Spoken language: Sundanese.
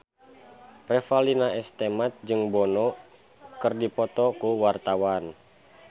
Revalina S. Temat jeung Bono keur dipoto ku wartawan